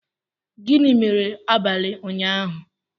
Gịnị mere abalị ụnyahụ?